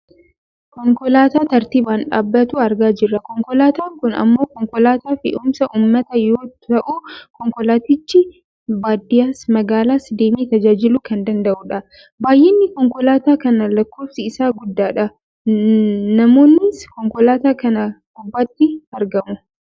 Konkolaataa tartiibaan dhaabatu argaa jirra. Konkolaataan kun ammoo konkolaataa fe'umsa uummataa yoo ta'u konkolaatichi baadiyyaas magaalaas deemee tajaajiluu kan danda'udha. Baayyinni konkolaataa kanaa lakkoofsi isaa guddaadha. Namoonnis konkolaataa kana gubbaatti argamu.